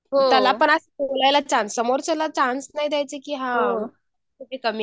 हो त्याला पण असं बोलायला चान्स समोरच्याला चान्स नाही द्यायचं की हा कुठे कमी आहे कमी आहे